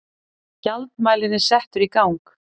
Gjaldmælirinn settur í gang.